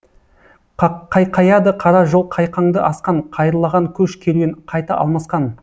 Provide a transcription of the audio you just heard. қайқаяды қара жол қайқаңды асқан қайырлаған көш керуен қайта алмасқан